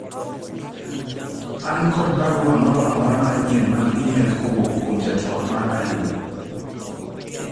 an kod barua moro amora manyien mag email kowuok kuom jatwak mara Ayub